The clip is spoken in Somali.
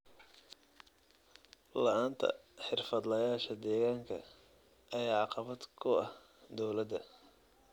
La'aanta xirfadlayaasha deegaanka ayaa caqabad ku ah dowladda.